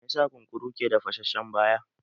Me za sa kunkuru ke da fashashen baya?